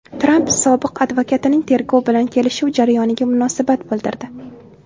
Tramp sobiq advokatining tergov bilan kelishuv jarayoniga munosabat bildirdi.